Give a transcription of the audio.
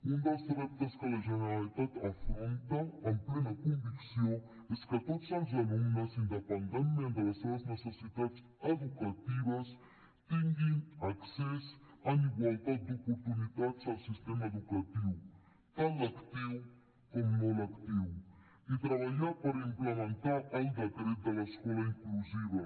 un dels reptes que la generalitat afronta amb plena convicció és que tots els alumnes independentment de les seves necessitats educatives tinguin accés en igualtat d’oportunitats al sistema educatiu tant lectiu com no lectiu i treballar per implementar el decret de l’escola inclusiva